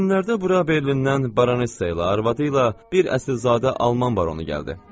Bu günlərdə bura Berlindən Baranssa ilə arvadı ilə bir əsrizadə alman baronu gəldi.